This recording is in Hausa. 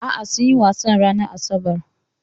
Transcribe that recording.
A'a, sunyi wasan ranar asabar.